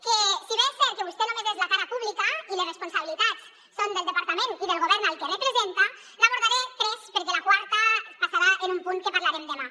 que si bé és cert que vostè només és la cara pública i les responsabilitats són del departament i del govern al que representa n’abordaré tres perquè la quarta passarà a un punt que parlarem demà